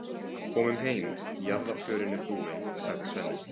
Komum heim, jarðarförin er búin, sagði Svenni.